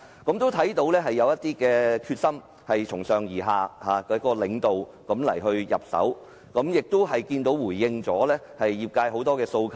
我看到政府有決心從上而下由領導方面入手，亦回應了業界很多訴求。